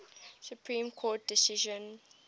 supreme court decision